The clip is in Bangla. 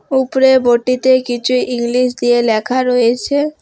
উপরে বোর্ডটিতে কিছু ইংলিশ দিয়ে লেখা রয়েছে।